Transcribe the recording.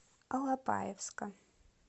алапаевска